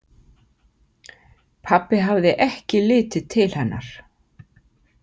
Pabbi hafði ekki litið til hennar.